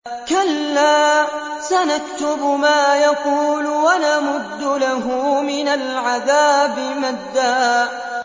كَلَّا ۚ سَنَكْتُبُ مَا يَقُولُ وَنَمُدُّ لَهُ مِنَ الْعَذَابِ مَدًّا